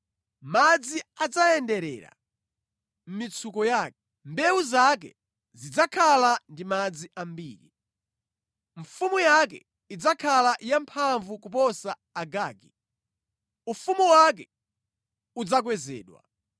Madzi adzayenderera mʼmitsuko yake; mbewu zake zidzakhala ndi madzi ambiri. “Mfumu yake idzakhala yamphamvu kuposa Agagi; ufumu wake udzakwezedwa.